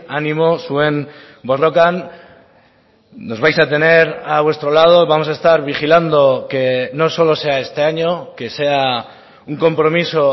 animo zuen borrokan nos vais a tener a vuestro lado vamos a estar vigilando que no solo sea este año que sea un compromiso